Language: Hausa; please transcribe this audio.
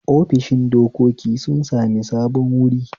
ofishin dokoki sun sami sabon wuri